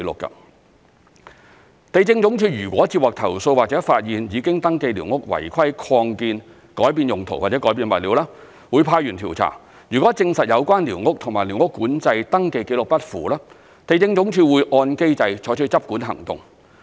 地政總署若接獲投訴或發現已登記寮屋違規擴建、改變用途或改變物料，會派員調查，如證實有關寮屋與寮屋管制登記紀錄不符，地政總署會按機制採取執管行動。